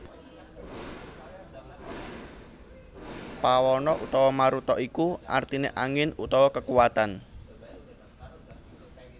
Pawana utawa Maruta iku artine angin utawa kekuwatan